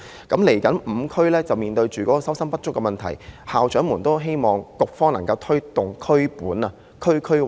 未來這5區面對收生不足的問題，校長們都希望局方能夠推動"以區本"的政策。